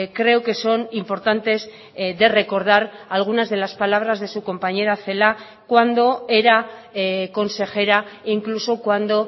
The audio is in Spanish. creo que son importantes de recordar algunas de las palabras de su compañera celaá cuando era consejera incluso cuando